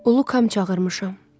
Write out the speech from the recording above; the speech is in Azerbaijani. Ulukam çağırmışam.